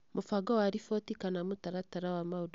Mũbango wa riboti / mũtaratara wa maũndũ marĩa mabataranagia